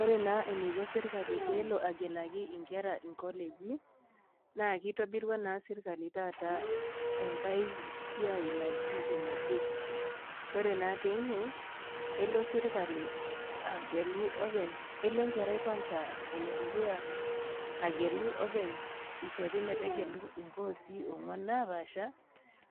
Ore na eniko serkali pelo agelaki nkera inkoleji na kitobirua na serkali taata enkae siai naji ene kuccps ore na teine elo serkali agelu openy, elo enkerai dukuya agelu openy ishori metegelu nkosii onguan napaasha